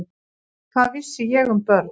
Hvað vissi ég um börn?